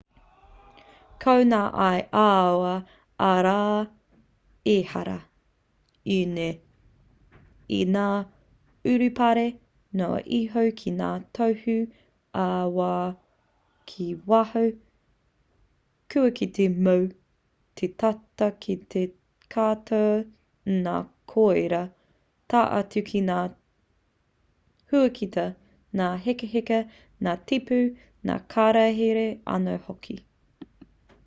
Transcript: ko ngā ia ā-wā arā ehara ēnei i ngā urupare noa iho ki ngā tohu ā-wā ki waho kua kitea mō te tata ki te katoa o ngā koiora tae atu ki ngā huakita ngā hekaheka ngā tipu ngā kararehe anō hoki